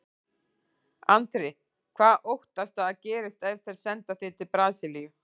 Andri: Hvað óttastu að gerist ef þeir senda þig til Brasilíu?